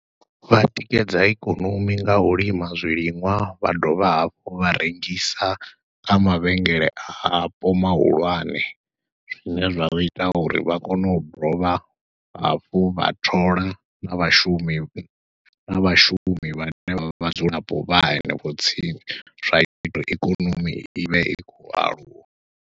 Vha tikedza ikonomi nga u lima zwiliṅwa, vha dovha hafhu vha rengisa kha mavhengele apo mahulwane, zwine zwa vha ita uri vha kone u dovha hafhu vha thola na vhashumi, na vhashumi vhane vha vha vhadzulapo vha hanefho tsini, zwa ita ikonomi i vhe i khou aluwa.